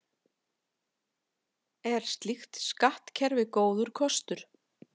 Er slíkt skattkerfi góður kostur?